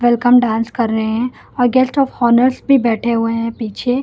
Welcome dance कर रहे हैं और गेस्ट ऑफ हॉनर्स भी बैठे हुए हैं पीछे।